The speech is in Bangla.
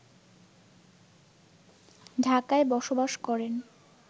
ঢাকায় বসবাস করেন